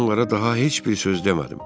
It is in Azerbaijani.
Mən onlara daha heç bir söz demədim.